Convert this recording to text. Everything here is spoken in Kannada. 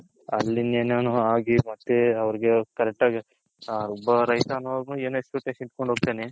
ಅಲ್ಲಿ ಇನ್ನ ಏನೇನೊ ಆಗಿ ಮತ್ತೆ correct ಆಗಿ ನಾನು ಒಬ್ಬ ರೈತ ಅನ್ನೋ Expectation ಇಟ್ಕೊಂಡ್ ಹೋಗ್ತಾನೆ .